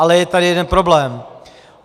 Ale je tady jeden problém.